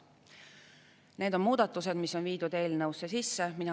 Need on muudatused, mis on viidud eelnõusse sisse.